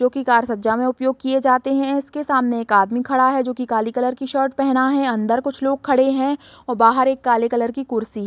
जोकि कार सज्जा में उपयोग किए जाते हैं | इसके सामने एक आदमी खड़ा है जोकि काले कलर की शर्ट पहना है अंदर कुछ लोग खड़े हैं और बाहर एक काले कलर की कुर्सी --